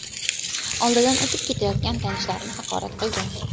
oldidan o‘tib ketayotgan tanishlarini haqorat qilgan.